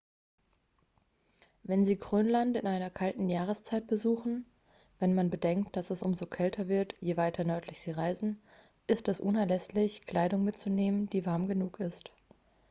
wenn sie grönland in einer kalten jahreszeit besuchen wenn man bedenkt dass es umso kälter wird je weiter nördlich sie reisen ist es unerlässlich kleidung mitzunehmen die warm genug ist